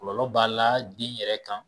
Kɔlɔlɔ b'a la den yɛrɛ kan